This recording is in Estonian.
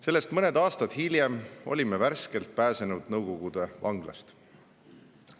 " Sellest mõned aastad hiljem olime värskelt pääsenud Nõukogude vanglast.